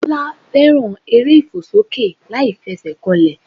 Bọ́lá fẹ́ràn eré ìfòsókè láìfesèkanlè